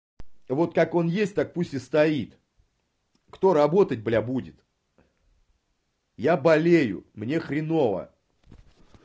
вот так он есть так пусть и стоит кто работать бля будет я болею мне хреново